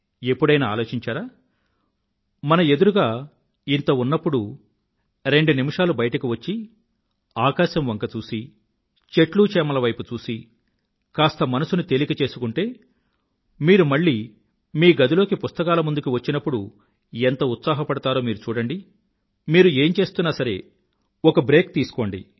ఎప్పుడైనా ఆలోచించారా మన ఎదురుగా ఇంత ఉన్నప్పుడు రెండు నిమిషాలు బయటకు వచ్చి ఆకాశం వంక చూసి చెట్లచేమల వైపు చూసి కాస్త మనసుని తేలిక చేసుకుంటే మీరు మళ్ళీ మీ గదిలోకి పుస్తకాల ముందుకి వచ్చినప్పుడు ఎంత ఉత్సాహపడతారో మీరు చూడండి మీరు ఏం చేస్తున్నా సరే ఒక బ్రేక్ తీసుకోండి